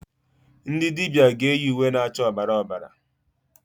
Ndị dibịa ga eyi uwe na-acha ọbara ọbara.